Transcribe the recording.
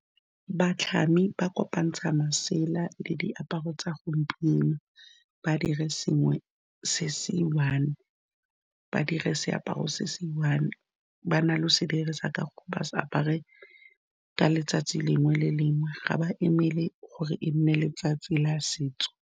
Batlhami ba kopantsha masela le diaparo tsa gompieno, ba dire sengwe se se one, ba dire seaparo se se one, ba na le se dirisa ka ba sa apare ka letsatsi lengwe le lengwe ga ba emele gore e nne letsatsi la setso.